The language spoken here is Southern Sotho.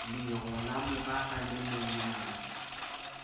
lero la morara le monyang